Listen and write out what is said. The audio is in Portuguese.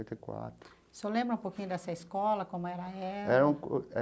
E quatro. O senhor lembra um pouquinho dessa escola, como era ela?